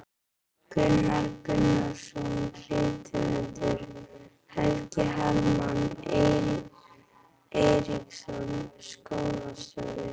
Gunnar Gunnarsson rithöfundur, Helgi Hermann Eiríksson skólastjóri